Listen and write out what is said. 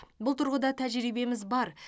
бұл тұрғыда тәжірибеміз бар